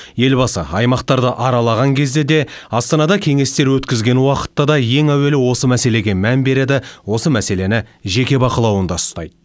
елбасы аймақтарды аралаған кезде де астанада кеңестер өткізген уақытта да ең әуелі осы мәселеге мән береді осы мәселені жеке бақылауында ұстайды